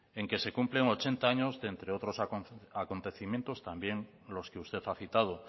en que se cumplen ochenta año de entre otros acontecimientos también los que usted ha citado